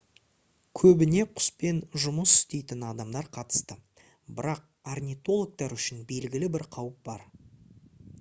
көбіне құспен жұмыс істейтін адамдар қатысты бірақ орнитологтар үшін белгілі бір қауіп бар